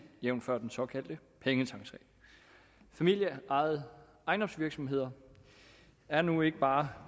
jævnfør den såkaldte pengetanksag familieejede ejendomsvirksomheder er nu ikke bare